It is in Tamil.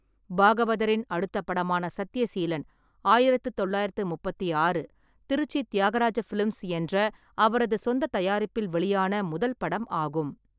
பாகவதரின் அடுத்தப் படமான சத்யசீலன் ஆயிரத்து தொள்ளாயிரத்து முப்பத்தாறு, திருச்சி தியாகராஜ ஃபிலிம்ஸ் என்ற அவரது சொந்தத் தயாரிப்பில் வெளியான முதல் படம் ஆகும்.